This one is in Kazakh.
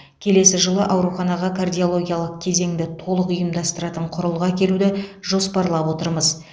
келесі жылы ауруханаға кардиологиялық кезеңді толық ұйымдастыратын құрылғы әкелуді жоспарлап отырмыз